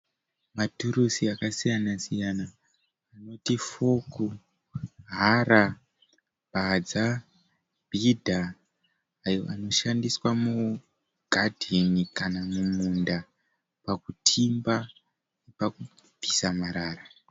Maturusi akasiyana siyana anoti foku, hara, badza, bhidha ayo anoshandiswa mugadheni kana muunda pakutimba nepakubvisa marara.